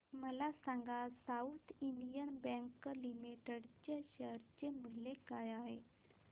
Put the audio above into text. मला सांगा South Indian Bank Limited चे शेअर मूल्य काय आहे